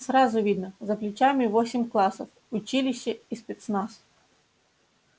сразу видно за плечами восемь классов училище и спецназ